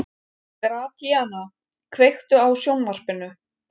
Gratíana, kveiktu á sjónvarpinu.